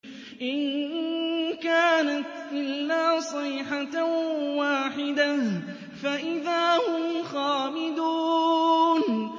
إِن كَانَتْ إِلَّا صَيْحَةً وَاحِدَةً فَإِذَا هُمْ خَامِدُونَ